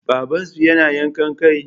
Babansu yana yankan kai?